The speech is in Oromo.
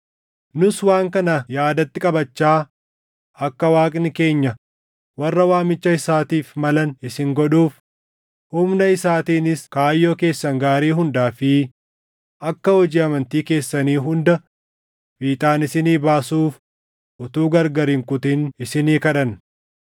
Nus waan kana yaadatti qabachaa, akka Waaqni keenya warra waamicha isaatiif malan isin godhuuf, humna isaatiinis kaayyoo keessan gaarii hundaa fi akka hojii amantii keessanii hunda fiixaan isinii baasuuf utuu gargar hin kutin isinii kadhanna.